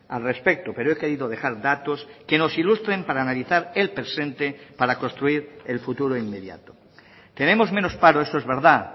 al respecto pero he querido dejar datos que nos ilustren para analizar el presente para construir el futuro inmediato tenemos menos paro eso es verdad